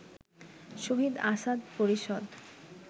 শহীদ আসাদ পরিষদ